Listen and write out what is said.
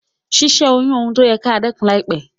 Si sẹ́ oyún oun ti o yẹ kí a dẹ́kun láìpẹ́